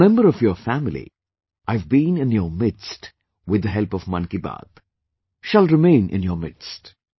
As a member of your family, I have been in your midst with the help of 'Mann Ki Baat', will remain in your midst